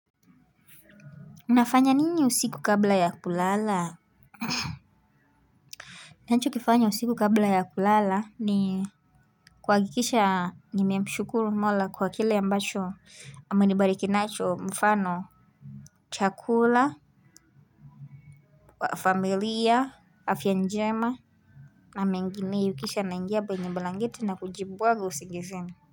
Unafanya nini usiku kabla ya kulala. Nacho kifanya usiku kabla ya kulala ni kuhakikishwa nime mshukuru mola kwa kile ambacho ame nibariki nacho mfano chakula. Kwa familia afya njema. Na mengineyo kisha naingia kwenye blanketi na kujibwaga usingizini.